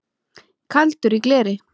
Kaldur í gleri